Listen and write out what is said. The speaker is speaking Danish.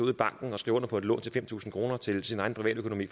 i banken og skrive under på et lån på fem tusind kroner til sin egen privatøkonomi